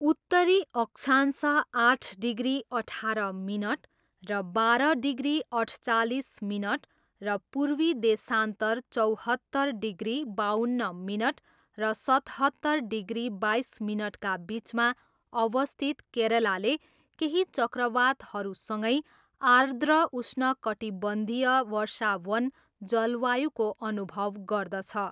उत्तरी अक्षांश आठ डिग्री अठार मिनट र बाह्र डिग्री अठचालिस मिनट र पूर्वी देशान्तर चौहत्तर डिग्री बाउन्न मिनट र सतहत्तर डिग्री बाइस मिनटका बिचमा अवस्थित केरलाले केही चक्रवातहरूसँगै आर्द्र उष्णकटिबन्धीय वर्षावन जलवायुको अनुभव गर्दछ।